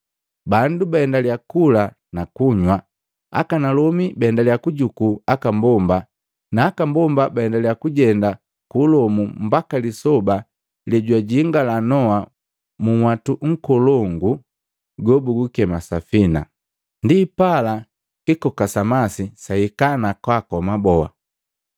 Bandu baendalya kula na kunywa, akanalomi baendalya kujuku aka mbomba na aka mbomba baendaliya kujenda ku ulomu mbaka lisoba lejwajingala Noa munhwatu nkolongu gobugukema safina. Ndipala kikoka sa masi saika na kwaakoma boa.